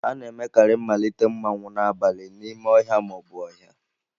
A na-emekarị mmalite mmanwu n'abalị n'ime ọhịa ma ọ bụ ọhịa.